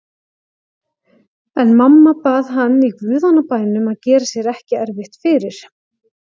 En mamma bað hann í guðanna bænum að gera sér ekki erfitt fyrir.